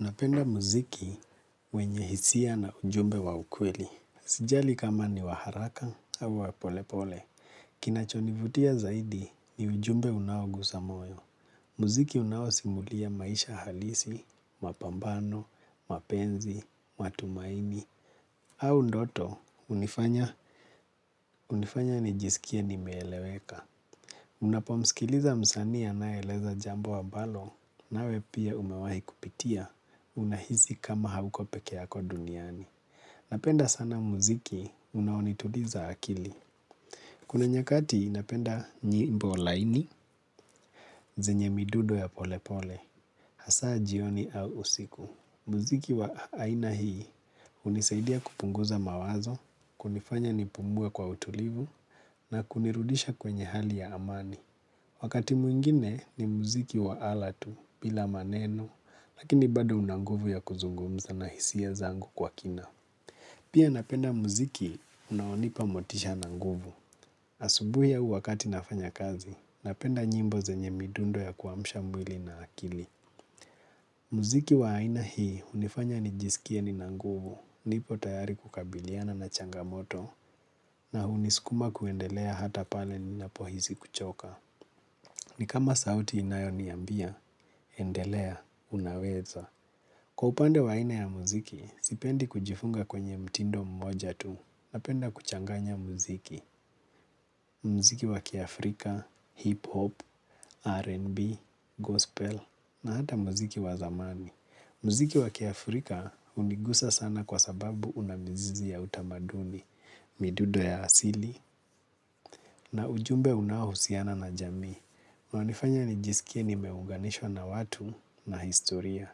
Unapenda muziki wenye hisia na ujumbe wa ukweli. Sijali kama ni wa haraka au wa polepole. Kinachonivutia zaidi ni ujumbe unao gusamoyo. Muziki unawo simulia maisha halisi, mapambano, mapenzi, matumaini. Au ndoto, unifanya, unifanya nijisikie ni meeleweka. Unapo msikiliza msanii anaeleza jambo ambalo na we pia umewahi kupitia. Unahisi kama hauko pekeako duniani. Napenda sana muziki unao ni tuliza akili. Kuna nyakati napenda nyimbo laini, zenye midudo ya pole pole, hasa jioni au usiku. Muziki wa aina hii unisaidia kupunguza mawazo, kunifanya nipumue kwa utulivu, na kunirudisha kwenye hali ya amani. Wakati mwingine ni muziki wa alatu, bila maneno, lakini bado unanguvu ya kuzungumza na hisia zangu kwa kina. Pia napenda muziki unaonipa motisha na nguvu. Asubuhi u wakati nafanya kazi. Napenda nyimbo zenye midundo ya kuamsha mwili na akili. Muziki wa aina hii unifanya nijisikie nina nguvu. Nipo tayari kukabiliana na changamoto. Na hunisukuma kuendelea hata pale ninapo hisi kuchoka. Ni kama sauti inayoniambia, endelea, unaweza. Kwa upande waine ya muziki, sipendi kujifunga kwenye mtindo mmoja tu napenda kuchanganya muziki. Mziki wakiafrika, Hip Hop, R&B, Gospel na hata muziki wazamani. Muziki wakia Afrika unigusa sana kwa sababu unamizizi ya utamaduni, midudo ya asili na ujumbe unaohusiana na jamii. Mnanifanya nijisikie nimeunganishwa na watu na historia.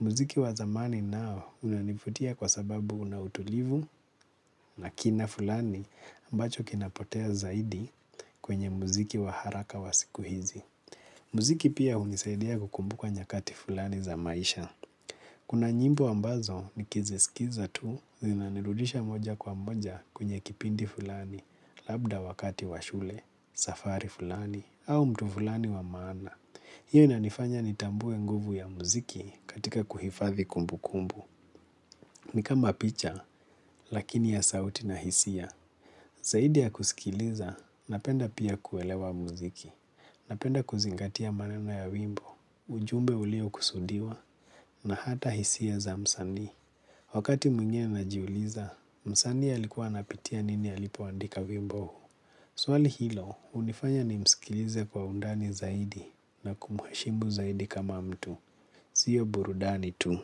Muziki wa zamani nao unanifutia kwa sababu una utulivu na kina fulani ambacho kinapotea zaidi kwenye muziki wa haraka wa siku hizi. Muziki pia unisaidia kukumbuka nyakati fulani za maisha. Kuna nyimbo ambazo nikizisikiza tu zinanirudisha moja kwa moja kwenye kipindi fulani labda wakati wa shule, safari fulani au mtu fulani wa maana. Hiyo inanifanya ni tambue nguvu ya muziki katika kuhifadhi kumbukumbu. Nikama picha, lakini ya sauti na hisia. Zaidi ya kusikiliza, napenda pia kuelewa muziki. Napenda kuzingatia maneno ya wimbo, ujumbe ulio kusudiwa, na hata hisia za mzanii. Wakati mwingine, najiuliza, msanii alikuwa anapitia nini alipoandika wimbo? Swali hilo, hunifanya nimskilize kwa undani zaidi. Na kumheshimu zaidi kama mtu. Sio burudani tu,